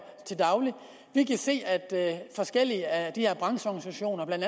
vi kan se at der er forskellige af de her brancheorganisationer blandt